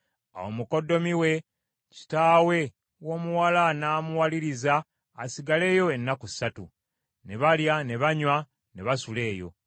Awo mukoddomi we, kitaawe w’omuwala n’amuwaliriza asigaleyo ennaku ssatu. Ne balya ne banywa ne basula eyo.